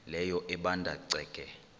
leyo ebanda ceke